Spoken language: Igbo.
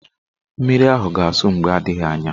Mmiri ahụ ga-asụ mgbe adịghị anya.